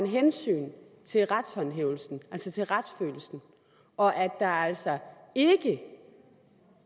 hensyn til retshåndhævelsen altså til retsfølelsen og at der altså ikke